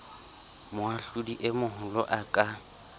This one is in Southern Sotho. moahlodi e moholo a ka